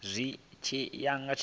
zwi tshi ya nga tshivhalo